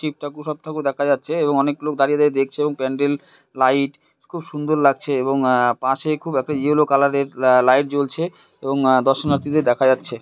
শিব ঠাকুর সব ঠাকুর দেখা যাচ্ছে এবং অনেক লোক দাঁড়িয়ে দাঁড়িয়ে দেখছে এবং প্যান্ডেল লাইট খুব সুন্দর লাগছে এবং আ পাশে খুব একটা ইয়েলো কালার -এর আ লাইট জ্বলছে এবং দর্শনার্থীদের দেখা যাচ্ছে।